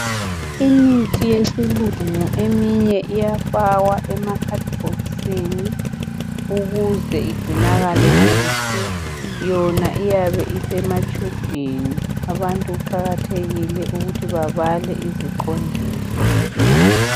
Imithi yesilungu eminye iyafakwa emakhadibhokisini ukuze igcinakale kuhle yona iyabe isematshubhini abantu kuqakathekile ukuthi babale iziqondiso.